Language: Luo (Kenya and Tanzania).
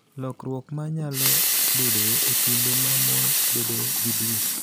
Lokruok ma nyalo bedoe e kinde ma mon bedoe gi dwe,